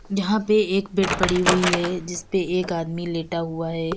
यहां पे एक बेड़ पड़ी हुई है जिस पे एक आदमी लेटा हुआ है।